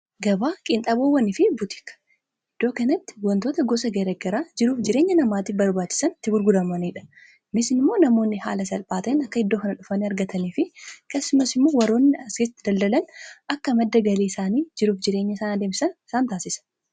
Gabaa qiinxaboowwani fi butika wantoota gosa garagaraa jiruuf jireenya namaatii barbaachisan ti gurguramaniidha. Immoo namoonni haala salphaatein akka hiddoo kana dhufan argatanii fi kasumas immoo waroonni asketti daldalan akka madda galii isaanii jiruuf jireenya isaan demsan isaan taasisa.